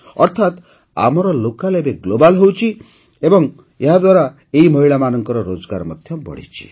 ଅର୍ଥାତ ଆମର ଲୋକାଲ ଏବେ ଗ୍ଲୋବାଲ ହେଉଛି ଏବଂ ୟାଦ୍ୱାରା ଏହି ମହିଳାମାନଙ୍କର ରୋଜଗାର ମଧ୍ୟ ବଢ଼ିଛି